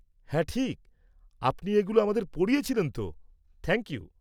হ্যাঁ, ঠিক, আপনি এগুলো আমাদের পড়িয়েছিলেন তো, থ্যাংক ইউ।